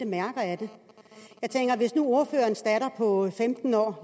mærker af det hvis nu ordførerens datter på femten år